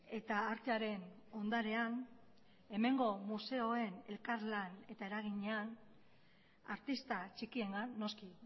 eta artearen ondarean hemengo museoen elkarlan eta eraginean artista txikiengan noski